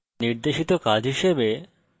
এই tutorial নির্দেশিত কাজ হিসাবে